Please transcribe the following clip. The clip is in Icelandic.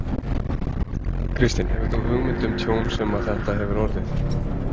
Kristinn: Hefur þú hugmynd um tjón sem að þetta hefur orðið?